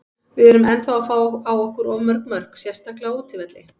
Við erum ennþá að fá á okkur of mörg mörk, sérstaklega á útivelli.